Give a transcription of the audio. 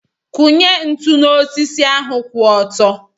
Kụnye ntụ n'osisi ahu kwụ ọtọ.